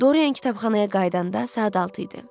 Dorian kitabxanaya qayıdanda saat 6 idi.